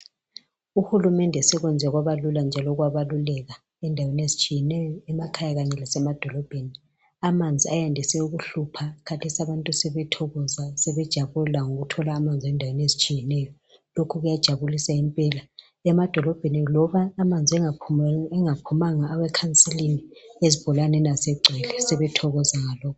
UHulumende sekwenze kwaba lula njalo kwabaluleka endaweni ezitshiyeneyo emakhaya kanye lasemadolobheni. Amanzi ayandise ukuhlupha khathesi abantu sebethokoza sebejabula ngokuthola amanzi endaweni ezitshiyeneyo lokhu kuyajabulisa impela emadolobheni loba amanzi engaphumanga awekhansilini ezibholaneni asegcwele sebethokoza ngalokhu.